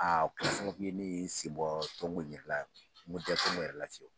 Aa kun ye sababuye ne ye n senbɔ ton ko yɛrɛ la, n ko n tɛ ton ko yɛrɛ la ten.